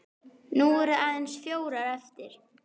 Nú eru aðeins fjórir eftir.